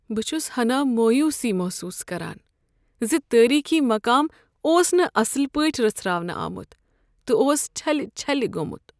بہٕ چھس ہنا مویوسی محسوس کران ز تٲریخی مقام اوس نہٕ اصل پٲٹھۍ رژھراونہٕ آمُت تہٕ اوس چھلِہ چھلہِ گوٚمُت۔